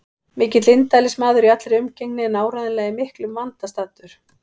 Mikill indælismaður í allri umgengni en áreiðanlega í miklum vanda staddur.